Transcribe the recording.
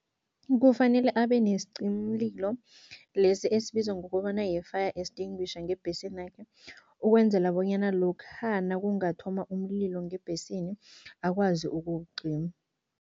Kufanele abe nesicimimlilo lesi esibizwa ngokobana yi-fire extinguisher ngebhesinakhe. Ukwenzela bonyana lokha nakungathoma umlilo ngebhesini, akwazi ukuwucima.